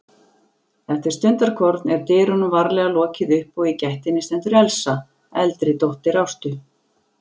Eftir stundarkorn er dyrunum varlega lokið upp og í gættinni stendur Elsa, eldri dóttir Ástu.